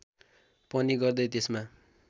पनि गर्दै त्यसमा